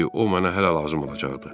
Çünki o mənə hələ lazım olacaqdı.